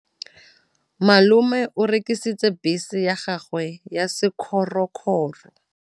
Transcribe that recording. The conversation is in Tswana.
Malome o rekisitse bese ya gagwe ya sekgorokgoro.